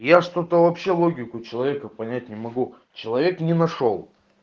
я что-то вообще логику человека понять не могу человек не нашёл